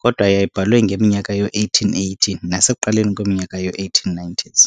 kodwa yayibhalwe ngeminyaka yoo-1880 nasekuqaleni kweminyaka yoo-1890s.